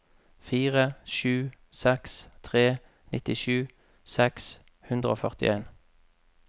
fire sju seks tre nittisju seks hundre og førtien